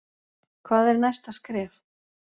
Hvað er næsta skref